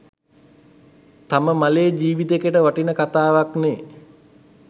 තම මලේ ජිවිතයකට වටින කතාවක්නේ.